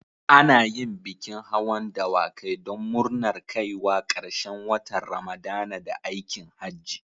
Ana yin bikin hawan dawakai don murnar kaiwa ƙarshen watan Ramadana da aikin Hajji.